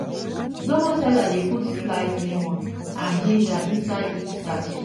zobo sellers dey put sliced lemon and ginger inside each sachet.